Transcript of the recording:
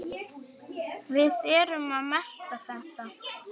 Við erum að melta þetta.